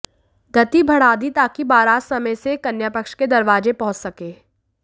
गति बढ़ा दी ताकि बारात समय से कन्यापक्ष के दरवाजे पहुंच सके